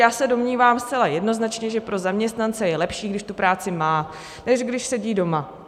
Já se domnívám zcela jednoznačně, že pro zaměstnance je lepší, když tu práci má, než když sedí doma.